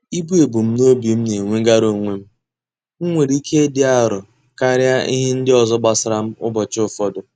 Ibu ebumnobi m na-enwegara onwe m, nwere ike ịdị arọ karịa ihe ndị ọzọ gbasara m ụbọchị ụfọdụ.